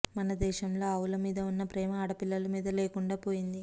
మన దేశంలో ఆవుల మీద ఉన్న ప్రేమ ఆడపిల్లల మీద లేకుండా పోయింది